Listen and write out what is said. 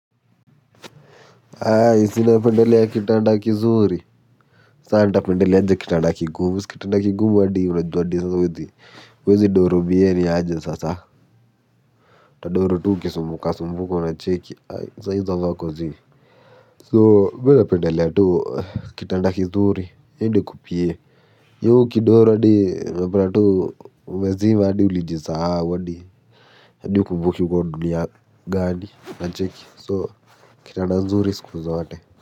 Aaai si ninapendelea kitanda kizuri saa nitapendelea aja kitanda kigumu si kitanda kigumu hadi unajua hadi sasa huwezi huwezi doro biee niaje sasa utadoro tu uki sumbuka sumbuka unacheki ai saa izo vako zii so mina pendelea tu kitanda kizuri hiyo ndio iko biie hiyo ukidoro hadi unapata tu umezima hadi ulijisahau hadi hadi hukumbuki uko dunia gani unacheki so kitanda nzuri siku zote.